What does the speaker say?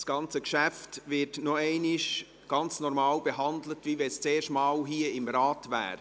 Das ganze Geschäft wird nochmals so behandelt, wie wenn es zum ersten Mal hier im Rat wäre.